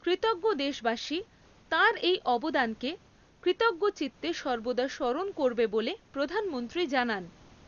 কৃতজ্ঞ দেশবাসী তাঁর এই অবদানকে কৃতজ্ঞচিত্তে সর্বদা স্মরণ করবে বলে প্রধানমন্ত্রী জানান।